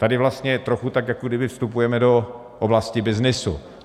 Tady vlastně je trochu, tak jako když vstupujeme do oblasti byznysu.